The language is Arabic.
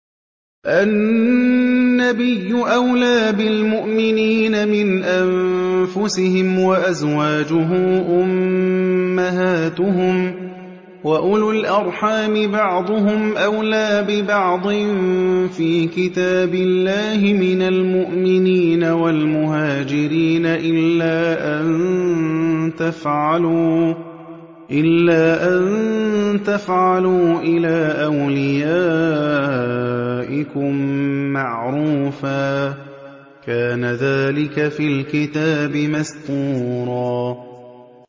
النَّبِيُّ أَوْلَىٰ بِالْمُؤْمِنِينَ مِنْ أَنفُسِهِمْ ۖ وَأَزْوَاجُهُ أُمَّهَاتُهُمْ ۗ وَأُولُو الْأَرْحَامِ بَعْضُهُمْ أَوْلَىٰ بِبَعْضٍ فِي كِتَابِ اللَّهِ مِنَ الْمُؤْمِنِينَ وَالْمُهَاجِرِينَ إِلَّا أَن تَفْعَلُوا إِلَىٰ أَوْلِيَائِكُم مَّعْرُوفًا ۚ كَانَ ذَٰلِكَ فِي الْكِتَابِ مَسْطُورًا